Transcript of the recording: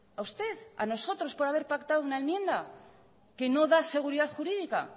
a usted a nosotros por haber pactado una enmienda que no da seguridad jurídica